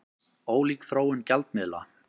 Ólík þróun gjaldmiðla